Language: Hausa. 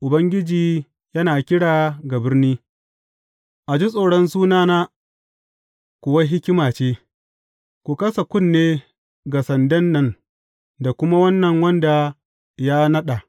Ubangiji yana kira ga birni, a ji tsoron sunana kuwa hikima ce, Ku kasa kunne ga sandan nan da kuma wannan wanda ya naɗa.